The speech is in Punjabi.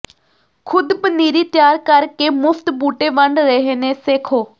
ਖੁਦ ਪਨੀਰੀ ਤਿਆਰ ਕਰ ਕੇ ਮੁਫ਼ਤ ਬੂਟੇ ਵੰਡ ਰਹੇ ਨੇ ਸੇਖੋਂ